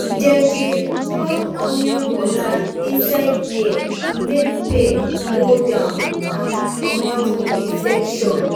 dem dey drop onion water inside ear to make pain go down and comot infection.